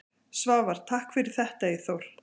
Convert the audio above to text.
Svavar: Takk fyrir þetta Eyþór.